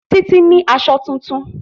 Títí ní aṣọ tuntun